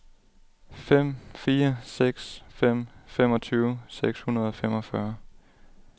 fem fire seks fem femogtyve seks hundrede og femogfyrre